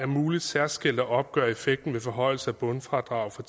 muligt særskilt at opgøre effekten ved forhøjelse af bundfradrag fra